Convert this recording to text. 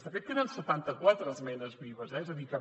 de fet queden setanta quatre esmenes vives eh és a dir